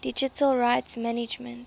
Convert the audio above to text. digital rights management